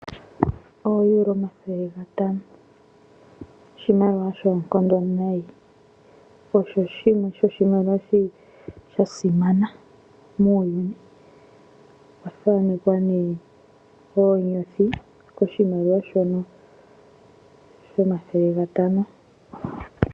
OoEuro 500; oshimaliwa shoonkondo nayi , osho shimwe shomiimaliwa yasimana muuyuni. Okwa thanekwa oonyothi koshimaliwa shono.